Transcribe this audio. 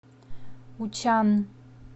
учан